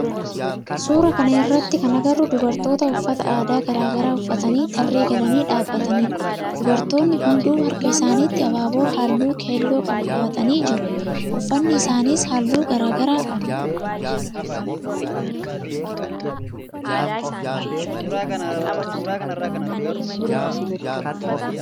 Suuraa kana irratti kan agarru dubartoota uffata aadaa garaa garaa uffatanii tarree galaani dhaabbatanidha. Dubartoonni hundu harka isaanitti abaaboo halluu keelloo qabu qabatanii jiru. Uffanni isaanis halluu garaa garaa qaba.